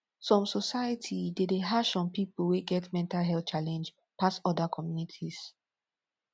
some society de dey hash on pipo wey get mental health challenge pass oda communities